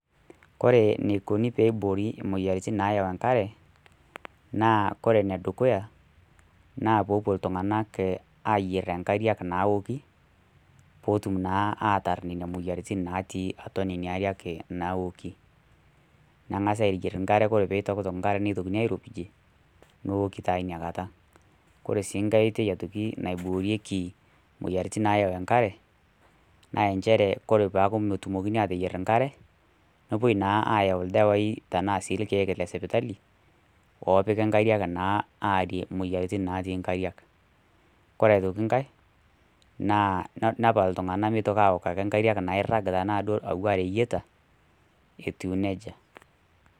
Kore eneikuni pee eiboori imoyiaritin naayau enkare, naa kore ene dukuya, naa peepuo iltung'ana ayier enkare naaoki, peetum naa ataar nena moyiaritin naatii atua nena aariak naoki. Nengasi ayier nkare kore pee eitokitok nakare neitokini airopijie, neoki taa ina kata. Kore sii enkai ake aitoki naiboorieki moyiaritin nayau enkare, naa nchre kore pee eaku metumokini ateyier enkare, nepuoi sii ayau ildawai tanaa ilkeek le sipitali, oopiki nkariak naa aarie imoyiaritin natii inkariak. Kore aitoki nkai nepal iltung'ana ake meitoki ake aok inkariak nairag ake duo tanaa ireyieta, etiu neija.